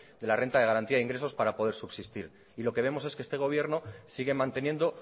la renta de garantía de ingresos para poder subsistir y lo que vemos es que este gobierno sigue manteniendo